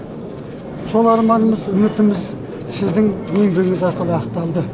сол арманымыз үмітіміз сіздің еңбегіңіз арқылы ақталды